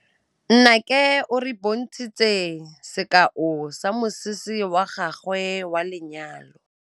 Nnake o re bontshitse sekaô sa mosese wa gagwe wa lenyalo.